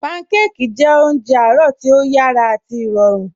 Pànḳàkí jẹ̀ ọ̀njẹ̀ àárọ̀ tí o yàrá àti ìròrùn